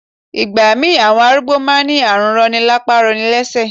Ìgbà mí ì àwọn arúgbó má a n ní àrùn rọni lápá rọni lẹ́sẹ̀